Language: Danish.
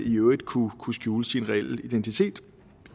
i øvrigt kunne skjule sin reelle identitet